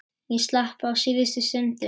Ég slapp á síðustu stundu.